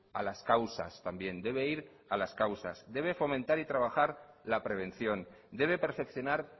a las causas también debe ir a las causas debe fomentar y trabajar la prevención debe perfeccionar